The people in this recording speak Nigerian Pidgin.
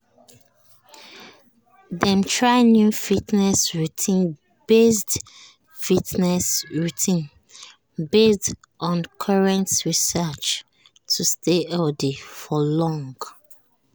dem try new fitness routine based fitness routine based on current research to stay healthy for long run.